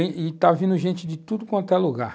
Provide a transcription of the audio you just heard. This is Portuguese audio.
i-i está vindo gente de tudo quanto é lugar.